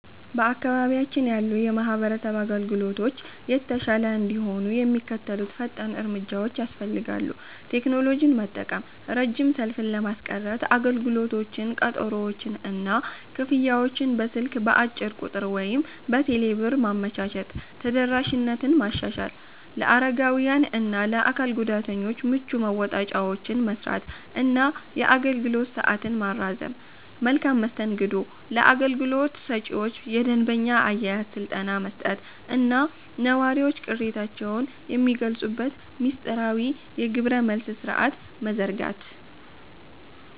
በአካባቢያችን ያሉ የማህበረሰብ አገልግሎቶች የተሻለ እንዲሆኑ የሚከተሉት ፈጣን እርምጃዎች ያስፈልጋሉ፦ ቴክኖሎጂን መጠቀም፦ ረጅም ሰልፍን ለማስቀረት አገልግሎቶችን፣ ቀጠሮዎችን እና ክፍያዎችን በስልክ (በአጭር ቁጥር ወይም በቴሌብር) ማመቻቸት። ተደራሽነትን ማሻሻል፦ ለአረጋውያን እና ለአካል ጉዳተኞች ምቹ መወጣጫዎችን መሥራት እና የአገልግሎት ሰዓትን ማራዘም። መልካም መስተንግዶ፦ ለአገልግሎት ሰጪዎች የደንበኛ አያያዝ ስልጠና መስጠት እና ነዋሪዎች ቅሬታቸውን የሚገልጹበት ሚስጥራዊ የግብረ-መልስ ሥርዓት መዘርጋት።